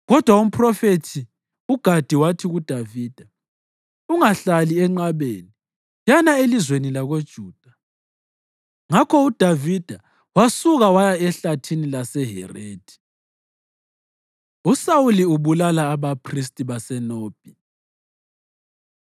Kodwa umphrofethi uGadi wathi kuDavida, “Ungahlali enqabeni. Yana elizweni lakoJuda.” Ngakho uDavida wasuka waya ehlathini laseHerethi. USawuli Ubulala AbaPhristi BaseNobhi